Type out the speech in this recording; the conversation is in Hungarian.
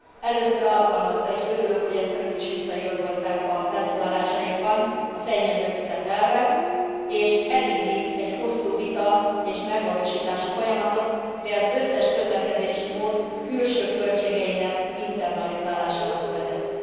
Először alkalmazza és örülök, hogy ezt Önök is visszaigazolták a felszólalásaikban a szennyező fizet elvet, és elindít egy hosszú vita és megvalósítási folyamatot, ami az összes közlekedési mód külső költségeinek internalizálásához vezet.